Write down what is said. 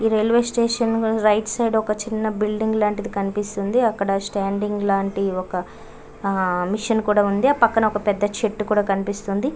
ఈ railway station కి right side ఒక చిన్న బిల్డింగ్ లాంటిది కనిపిస్తుంటుంది. అక్కడ స్టాండింగ్ లాంటి ఒక హా మెషిన్ కూడా ఉంది. ఆ పక్కానా ఒక పెద చెట్టు కుడ కనిపిస్తుంది.